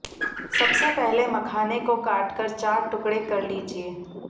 सबसे पहले मखाने को काट कर चार टुकड़े कर लीजिये